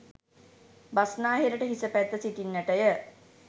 බස්නාහිරට හිස පැත්ත සිටින්නට ය.